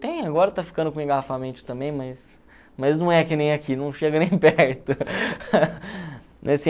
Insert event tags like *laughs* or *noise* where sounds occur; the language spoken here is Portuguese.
Tem, agora tá ficando com engarrafamento também, mas mas não é que nem aqui, não chega nem perto. *laughs*